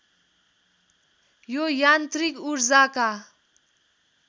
यो यान्त्रिक ऊर्जाका